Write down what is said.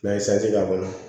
N'an ye k'a kɔnɔ